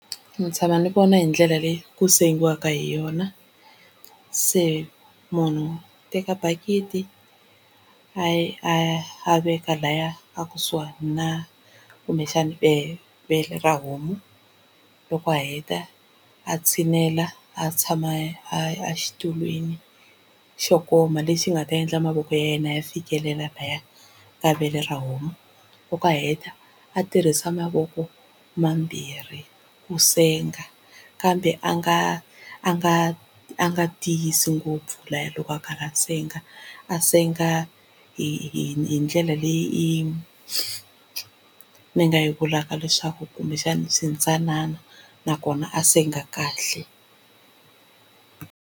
Ndzi tshama ndzi vona hi ndlela leyi ku sengiwa hi yona, se munhu u teka bakiti a ya a ya a veka laya a kusuhani na kumbexani na vele ra homu, loko a heta a tshinela a tshama a xitulwini xo koma lexi nga ta endla mavoko ya yena ya fikelela laya ka vele ra homu. Loko a heta a tirhisa mavoko mambirhi ku senga kambe a nga a nga a nga tiyisi ngopfu laya loko a karhi a senga a senga hi hi ndlela leyi ni nga yi vulaka leswaku kumbexana swi ntsanana nakona a senga kahle.